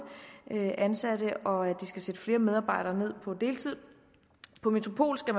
ansatte og at de skal sætte flere medarbejdere ned på deltid på metropol skal